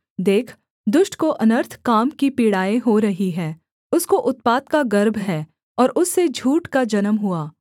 देख दुष्ट को अनर्थ काम की पीड़ाएँ हो रही हैं उसको उत्पात का गर्भ है और उससे झूठ का जन्म हुआ